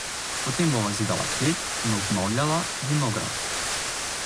Potem bova zidala klet in obnavljala vinograd.